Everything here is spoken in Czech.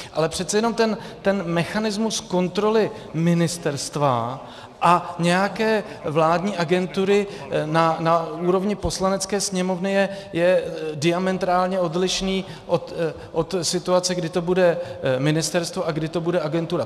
Ale přece jenom ten mechanismus kontroly ministerstva a nějaké vládní agentury na úrovni Poslanecké sněmovny je diametrálně odlišný od situace, kdy to bude ministerstvo a kdy to bude agentura.